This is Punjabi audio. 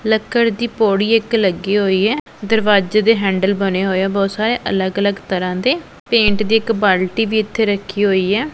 ਲੱਕੜ ਦੀ ਪੌੜੀ ਇੱਕ ਲੱਗੀ ਹੋਈ ਐ ਦਰਵਾਜ਼ੇ ਦੇ ਹੈਂਡਲ ਬਣੇ ਹੋਏ ਆ ਬਹੁਤ ਸਾਰੇ ਅਲੱਗ ਅਲੱਗ ਤਰ੍ਹਾਂ ਦੇ ਪੇਂਟ ਦੀ ਇੱਕ ਬਾਲਟੀ ਵੀ ਇੱਥੇ ਰੱਖੀ ਹੋਈ ਐ।